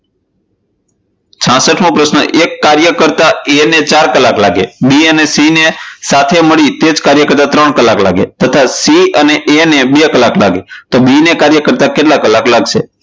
છાસઠ મો પ્રશ્ન એક કાર્ય કરતા a ને ચાર કલાક લાગે B અને C ને સાથે મળીને કાર્ય કરતા ત્રણ કલાક લાગે તથા C અને A ને બે કલાક લાગે તો B ને કાર્ય કરતા કેટલા કલાક લાગશે?